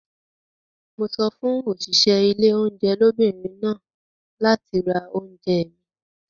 Mo sọ fún òṣìṣẹ́ ilé oúnjẹ lóbìnrin náà láti ra oúnjẹ mi.